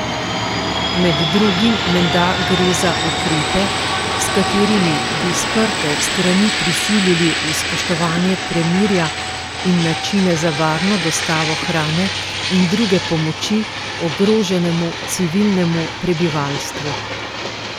Med drugim menda gre za ukrepe, s katerimi bi sprte strani prisilili v spoštovanje premirja in načine za varno dostavo hrane in druge pomoči ogroženemu civilnemu prebivalstvu.